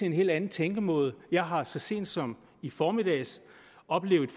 en helt anden tænkemåde jeg har så sent som i formiddags oplevet